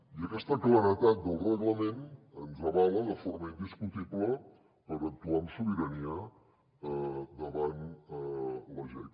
i aquesta claredat del reglament ens avala de forma indiscutible per actuar amb sobirania davant la jec